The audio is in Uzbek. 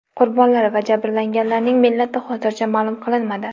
Qurbonlar va jabrlanganlarning millati hozircha ma’lum qilinmadi.